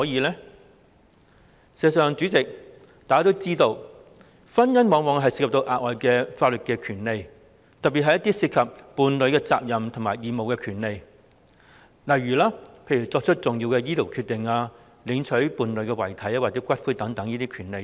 事實上，代理主席，大家都知道婚姻往往涉及額外的法律權利，特別是一些涉及伴侶責任及義務的權利，例如作出重要的醫療決定、領取伴侶遺體或骨灰的權利。